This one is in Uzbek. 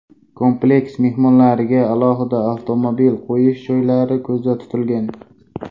Kompleks mehmonlariga alohida avtomobil qo‘yish joylari ko‘zda tutilgan.